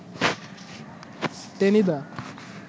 Tenida